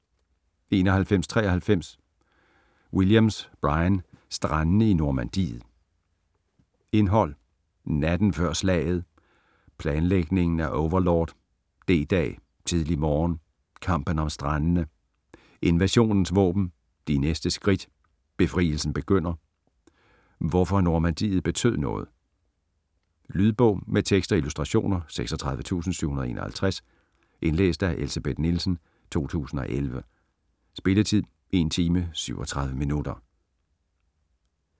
91.93 Williams, Brian: Strandene i Normandiet Indhold: Natten før slaget ; Planlægningen af Overlord ; D-dag - tidlig morgen ; Kampen om strandene ; Invasionens våben ; De næste skridt ; Befrielsen begynder ; Hvorfor Normandiet betød noget. Lydbog med tekst og illustrationer 36751 Indlæst af Elsebeth Nielsen, 2011. Spilletid: 1 timer, 37 minutter.